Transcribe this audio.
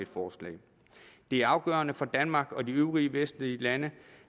forslag det er afgørende for danmark og de øvrige vestlige lande